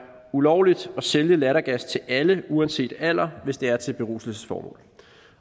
ulovligt at sælge lattergas til alle uanset alder hvis det er til beruselsesformål